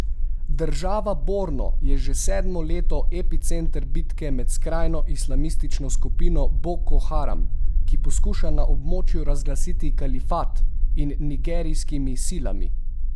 Država Borno je že sedmo leto epicenter bitke med skrajno islamistično skupino Boko Haram, ki poskuša na območju razglasiti kalifat, in nigerijskimi silami.